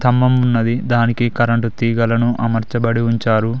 ఉన్నది దానికి కరెంటు తీగలను అమర్చబడి ఉంచారు.